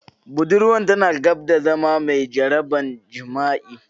Budurwar tana gab da zama mai jaraban jima'i.